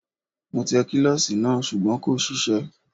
Mo tẹ kílọ̀sì náà sùgbọ́n kò ṣiṣẹ́